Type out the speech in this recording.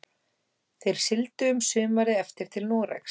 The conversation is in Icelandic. Þeir sigldu um sumarið eftir til Noregs.